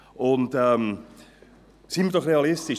Sind wir doch realistisch.